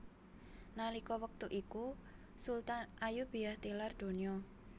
Nalika wektu iku Sultan Ayyubiyah tilar donya